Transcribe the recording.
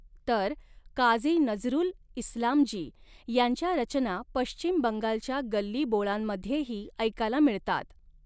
तर काज़ी नज़रूल इस्लाम जी यांच्या रचना पश्चिम बंगालच्या गल्ली बोळांमध्येही ऐकायला मिळतात.